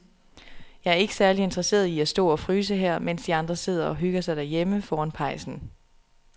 Jeg er ikke særlig interesseret i at stå og fryse her, mens de andre sidder og hygger sig derhjemme foran pejsen.